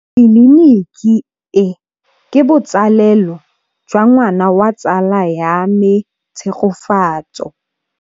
Tleliniki e, ke botsalêlô jwa ngwana wa tsala ya me Tshegofatso.